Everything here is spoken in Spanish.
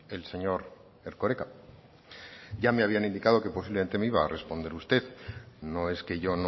el señor erkoreka ya me habían indicado que posiblemente me iba a responder usted no es que yo